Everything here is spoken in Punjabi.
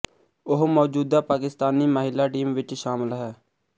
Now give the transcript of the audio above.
ਉਹ ਮੌਜੂਦਾ ਪਾਕਿਸਤਾਨੀ ਮਹਿਲਾ ਟੀਮ ਵਿੱਚ ਸ਼ਾਮਲ ਹੈ